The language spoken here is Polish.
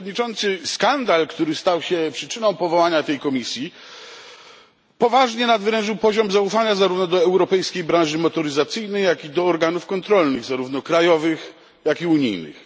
Panie Przewodniczący! Skandal, który stał się przyczyną powołania tej komisji, poważnie nadwyrężył poziom zaufania zarówno do europejskiej branży motoryzacyjnej, jak i do organów kontrolnych, zarówno krajowych, jak i unijnych.